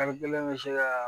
Kalo kelen bɛ se ka